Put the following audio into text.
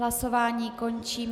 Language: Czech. Hlasování končí.